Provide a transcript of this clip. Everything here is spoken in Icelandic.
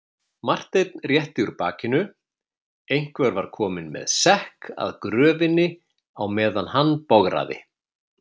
Marteinn rétti úr bakinu, einhver var kominn með sekk að gröfinni á meðan hann bograði.